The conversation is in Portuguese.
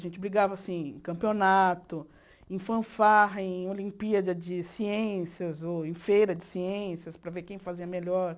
A gente brigava, assim, em campeonato, em fanfarra, em Olimpíada de Ciências, ou em Feira de Ciências, para ver quem fazia melhor.